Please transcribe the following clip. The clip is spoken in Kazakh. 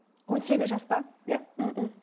он сегіз жас па иә